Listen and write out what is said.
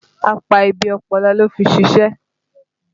Apá ibi ọpọlọ ló fi ṣìṣe